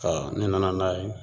Aa n'i nana n'a ye